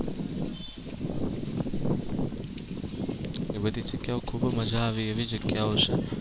એ બધી જગ્યાઓ ખૂબ મજા આવે એવી જગ્યાઓ છે.